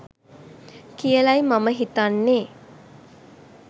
කියලයි මම හිතන්නේ.